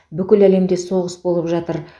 бүкіл әлемде соғыс болып жатыр